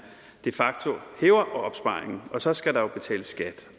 de facto hæver opsparingen og så skal der jo betales skat